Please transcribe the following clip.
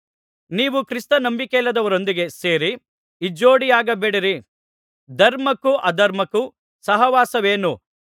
ನೀವು ಕ್ರಿಸ್ತ ನಂಬಿಕೆಯಿಲ್ಲದವರೊಂದಿಗೆ ಸೇರಿ ಇಜ್ಜೋಡಿಯಾಗಬೇಡಿರಿ ಧರ್ಮಕ್ಕೂ ಅಧರ್ಮಕ್ಕೂ ಸಹವಾಸವೇನು